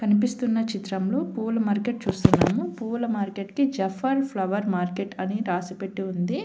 కనిపిస్తున్న చిత్రంలో పువ్వుల మార్కెట్ చూస్తున్నాము పువ్వుల మార్కెట్ కి జఫ్ఫాన్ ఫ్లవర్ మార్కెట్ అని రాసి పెట్టి ఉంది.